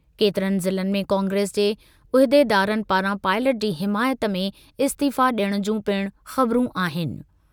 केतिरनि ज़िलनि में कांग्रेस जे उहिदेदारनि पारां पाइलट जी हिमायत में इस्तीफ़ा डि॒यणु जूं पिणु ख़बरूं आहिनि।